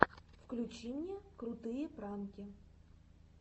включи мне крутые пранки